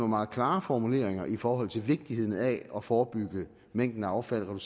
meget klare formuleringer i forhold til vigtigheden af at forebygge mængden af affald og